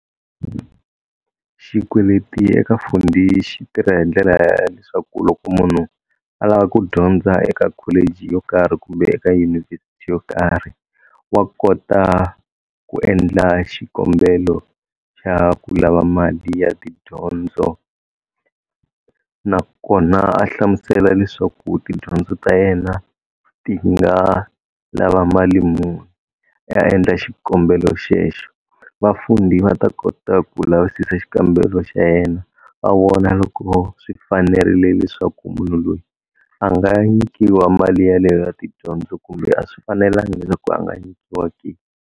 Xikweleti eka Fundi xi tirha hi ndlela ya leswaku loko munhu a lava ku dyondza eka college yo karhi kumbe eka yunivhesiti yo karhi wa kota ku endla xikombelo xa ku lava mali ya tidyondzo nakona a hlamusela leswaku tidyondzo ta yena ti nga lava mali muni a endla xikombelo xexo va Fundi va ta kota ku lavisisa xikambelo xa yena va vona loko swi fanerile leswaku munhu loyi a nga nyikiwa mali yaleyo ya tidyondzo kumbe a swi fanelangi leswaku a nga nyikiwa ke.